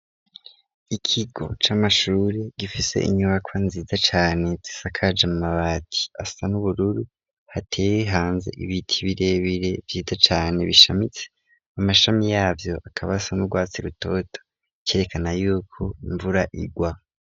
Ikigo c'amashure gifise inyubakwa nziza cane zisakaje mu mabati asa n'ubururu hateyi hanze ibiti birebire vyiza cane bishamitse amashami yavyo akabasa n'urwatsi rutoto ikerekana yuko imvura igwa.